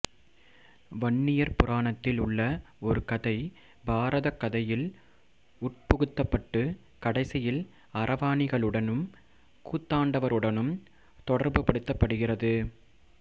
வன்னியர் புராணத்தில் உள்ள ஒரு கதை பாரதக் கதையில் உட்புகுத்தப்பட்டு கடைசியில் அரவாணிகளுடனும் கூத்தாண்டவருடனும் தொடர்புபடுத்தப்படுகிறது